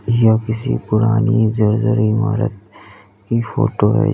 यह किसी पुरानी जर्जर इमारत की फोटो है।